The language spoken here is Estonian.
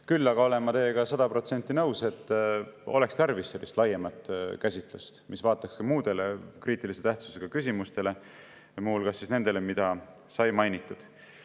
Küll aga olen ma teiega sada protsenti nõus, et oleks tarvis laiemat käsitlust, mis vaataks ka muid kriitilise tähtsusega küsimusi, muu hulgas neid, mida sai mainitud.